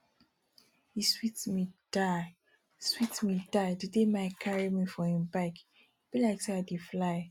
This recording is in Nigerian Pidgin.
e sweet me die sweet me die the day mike carry me for im bike e be like say i dey fly